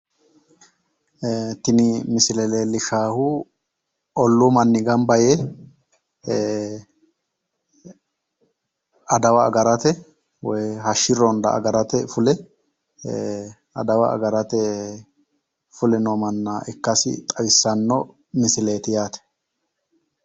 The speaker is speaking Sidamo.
Tini misile leellishaahu olluu manni gamba yee adawa agarate woyi hashshi ronda agarate fule adawa agarate fuleno manna ikkasi xawissanno misileeti yaate.